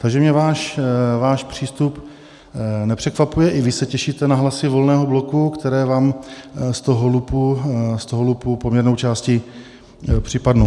Takže mě váš přístup nepřekvapuje, i vy se těšíte na hlasy Volného bloku, které vám z toho lupu poměrnou částí připadnou.